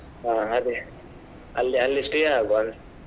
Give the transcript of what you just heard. ಹಾ ಅದೇ ಅಲ್ಲೇ ಅಲ್ಲೇ stay ಆಗುವ.